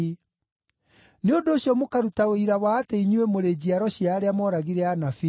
Nĩ ũndũ ũcio mũkaruta ũira wa atĩ inyuĩ mũrĩ njiaro cia arĩa mooragire anabii.